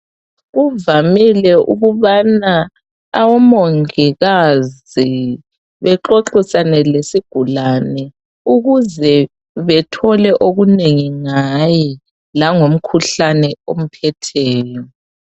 Kuvamile ukubana omongikazi bexoxisane lesigulani ukuze bethole okunengi ngaye langomkhuhlane omphetheyo.